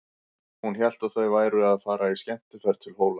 Hún hélt að þau væru að fara í skemmtiferð til Hóla.